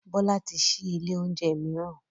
Bọ́lá ti ṣí ilé oúnjẹ mìíràn